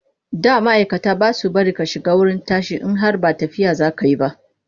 Da ma'aikata ba sa bari a shiga wurin tashi in har ba tafiya za ka yi ba.